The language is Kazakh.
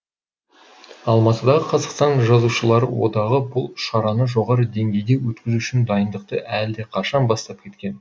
алматыдағы қазақстан жазушылары одағы бұл шараны жоғары деңгейде өткізу үшін дайындықты әлдеқашан бастап кеткен